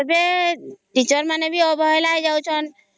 ଏବେ teacher ମାନେ ବି ଅବହେଳା ହେଇ ଯାଉ ଛନ